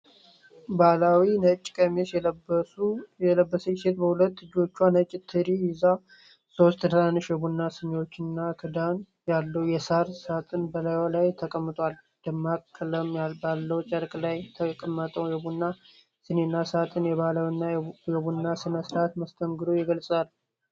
ባህላዊ ነጭ ቀሚስ የለበሰች ሴት በሁለት እጆቿ ነጭ ትሪ ይዛ፣ ሦስት ትናንሽ የቡና ሲኒዎችና ክዳን ያለው የሳር ሳጥን በላዩ ላይ ተቀምጧል። ደማቅ ቀለም ባለው ጨርቅ ላይ የተቀመጠው የቡና ሲኒና ሳጥን፣ የባህላዊ የቡና ሥነ-ሥርዓት መስተንግዶን ይገልጻል።